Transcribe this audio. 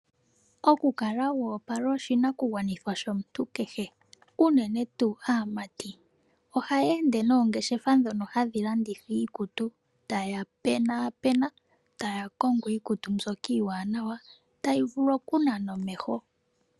Oku kala wa opala, oshinakugwanithwa shomuntu kehe uunene tuu aamati, ohaya ende noongeshefa dhoka hadhi landitha iikutu, taya pena, pena, taya kongo iikutu mbyoka iiwanawa, tayi vulu oku nana omeho.